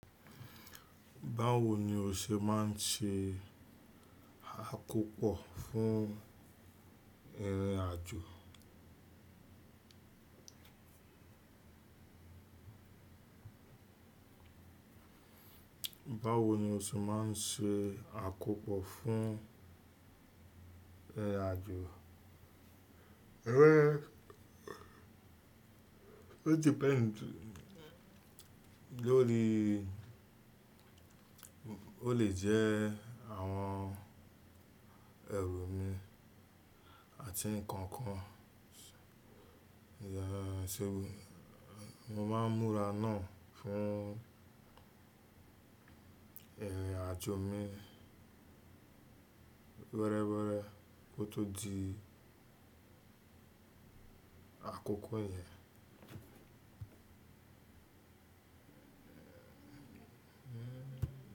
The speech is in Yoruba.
Báwo ni o ṣe máa ń ṣe àkópọ̀ fún irin àjò? Báwo ni o ṣe máa ń ṣe àkópọ̀ fún eré àjò? Eré, o ti pẹ́ lori ó lè jẹ́ àwọn ẹrù mi àti nǹkan kan. Ìyàṣẹwò, mo máa ń múra náà fún irin àjò mi wẹ́rẹ́wẹ́rẹ́ kó tó di àkókò yẹn.